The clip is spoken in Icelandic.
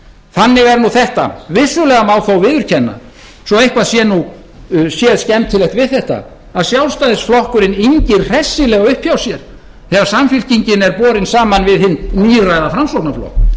þannig er nú þetta vissulega má þó viðurkenna svo eitthvað sé nú séð skemmtilegt við þetta að sjálfstæðisflokkurinn yngir hressilega upp hjá sér þegar samfylkingin er borin saman við hinn níræða framsóknarflokk það sem